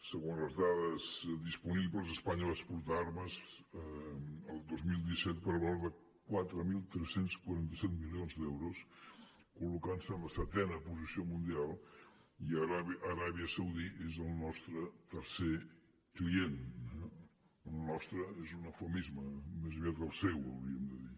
segons les dades disponibles espanya va exportar armes el dos mil disset per valor de quatre mil tres cents i quaranta set milions d’euros i es va col·locar en la setena posició mundial i aràbia saudita és el nostre tercer client eh el nostre és un eufemisme més aviat el seu hauríem de dir